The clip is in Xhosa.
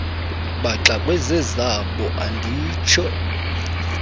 baxakwe zezabo anditsho